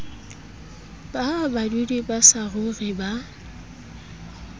ba badudi ba saruri ba